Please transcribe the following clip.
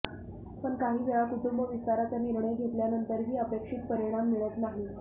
पण काही वेळा कुटुंब विस्ताराचा निर्णय घेतल्यानंतरही अपेक्षित परिणाम मिळत नाही